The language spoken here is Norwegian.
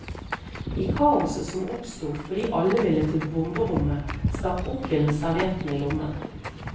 I kaoset som oppsto, fordi alle ville til bomberommet, stakk onkelen servietten i lommen.